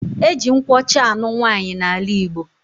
Eji nkwụ ọcha anụ nwaanyi na ala igbo.